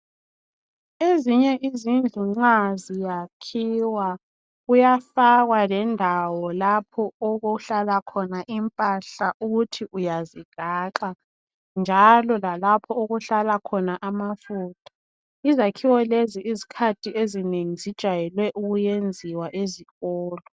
Ezinye izindlu nxa ziyakhiwa kuyafakwa lendawo lapho okuhlala khona impahla ukuthi uyazigaxa njalo lalapha okuhlala khona amafutha. Izakhiwo lezo isikhathi ezinengi zijayele ukwenziwa ezikolo.